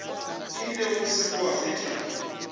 ile go sešo gwa feta